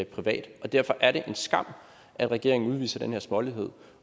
privat og derfor er det en skam at regeringen udviser den her smålighed